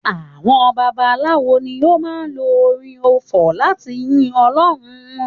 Àwọn babaláwo ni ó máa ń lo orin ọfọ̀ láti yin ọlọ́run wọn